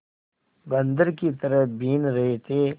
बंदर की तरह बीन रहे थे